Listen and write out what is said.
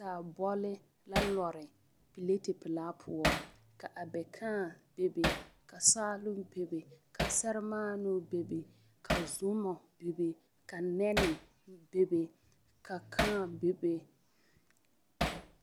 Saabɔle la lare pileti pelaa poɔ ka abɛkãã bebe ka saaloŋ bebe ka sɛremaanoo bebe ka zomɔ bebe ka nɛne bebe ka kaa bebe.